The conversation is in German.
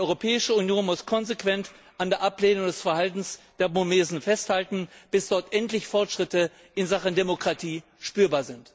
Die Europäische Union muss konsequent an der Ablehnung des Verhaltens der Burmesen festhalten, bis dort endlich Fortschritte in Sachen Demokratie spürbar sind.